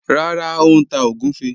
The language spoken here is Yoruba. Rárá, ó n tá ogunfẹ́